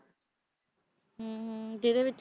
ਹਮ ਹਮ ਜਿਹਦੇ ਵਿੱ~